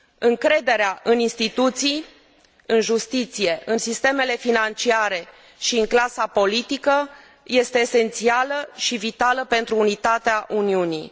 Încrederea în instituții, în justiție, în sistemele financiare și în clasa politică este esențială și vitală pentru unitatea Uniunii.